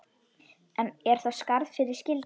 Er þá skarð fyrir skildi.